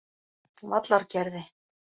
Vallargerði